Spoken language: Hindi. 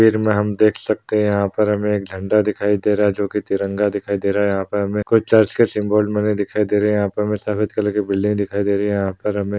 में हम देख सकते है यहाँ पर हमें एक झंडा दिखाई दे रहा है जो की तिरंगा दिखाई दे रहा है यहाँ पर हमें कोई चर्च के सिंबल दिखाई दे रहे है यहाँ पर महे सफ़ेद कलर की बिल्डिंग दिखाई दे रहे है यहाँ पर हमे--